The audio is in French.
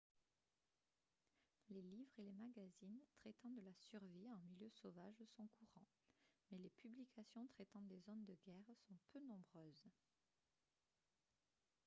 les livres et les magazines traitant de la survie en milieu sauvage sont courants mais les publications traitant des zones de guerre sont peu nombreuses